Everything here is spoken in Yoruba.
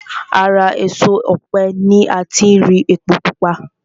Ara èso ọ̀pẹ ni ati rí epo pupa